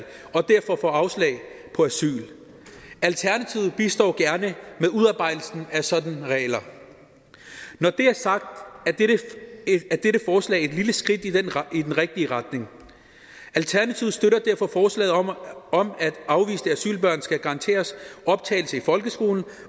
og derfor får afslag på asyl alternativet bistår gerne med udarbejdelsen af sådanne regler når det er sagt er dette forslag et lille skridt i den rigtige retning alternativet støtter derfor forslaget om at afviste asylbørn skal garanteres optagelse i folkeskolen